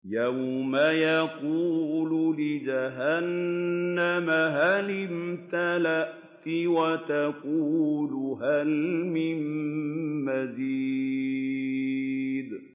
يَوْمَ نَقُولُ لِجَهَنَّمَ هَلِ امْتَلَأْتِ وَتَقُولُ هَلْ مِن مَّزِيدٍ